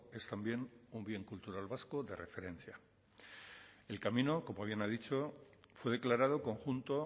es también un bien cultural vasco de referencia el camino como bien ha dicho fue declarado conjunto